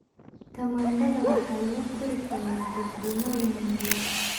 Tamaandhada waxaa lagu kori karaa jardiinooyin yaryar.